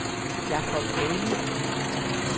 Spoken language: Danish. Jacob Ali